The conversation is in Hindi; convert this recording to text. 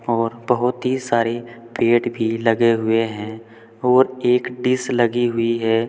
और बहुत ही सारी पेड़ भी लगे हुए हैं और एक डिश लगी हुई है।